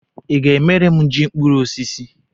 Ị ga-emere m ji mkpuru osisi?